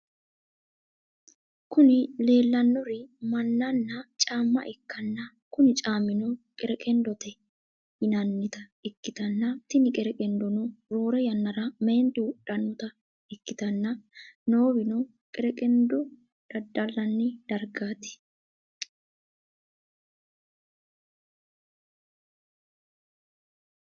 Kuni lelanori mannana camma ikana kuni cammino qereqqendote yinanita ikitana tini qerreqqendono rorre yanara menitu wodhanota ikitana nowino qereqqendo dadalinanni darigat.